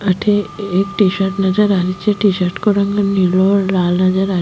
अठे एक T shirt नजर आ री छे टी शर्ट को रंग नीलो और लाल नजर आ --